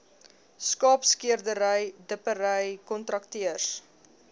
skaapskeerdery dippery kontrakteurs